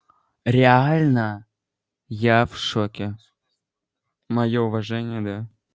реально я в шоке моё уважение да